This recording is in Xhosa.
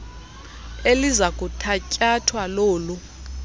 eliza kuthatyathwa lolu